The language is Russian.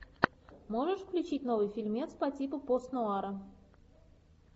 можешь включить новый фильмец по типу пост нуара